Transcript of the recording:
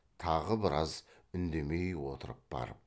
тағы біраз үндемей отырып барып